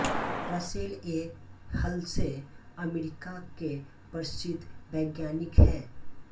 Russell A Hulse America के प्रसिद्द वैज्ञानिक हैं